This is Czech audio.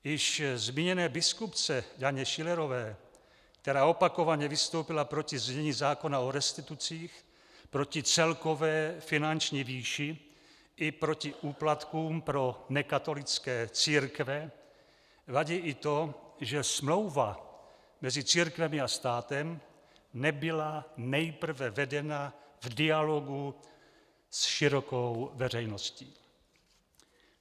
Již zmíněné biskupce Janě Šilerové, která opakovaně vystoupila proti znění zákona o restitucích, proti celkové finanční výši i proti úplatkům pro nekatolické církve, vadí i to, že smlouva mezi církvemi a státem nebyla nejprve vedena v dialogu s širokou veřejností.